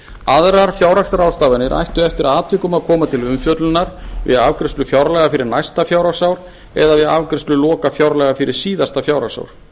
aðrar fjárhagsráðstafanir ættu eftir atvikum að koma til umfjöllunar við afgreiðslu fjárlaga fyrir næsta fjárhagsár eða við afgreiðslu lokafjárlaga fyrir síðasta fjárhagsár